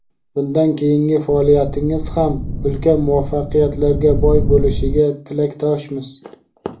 Bundan keyingi faoliyatingiz ham ulkan muvaffaqiyatlarga boy bo‘lishiga tilakdoshmiz.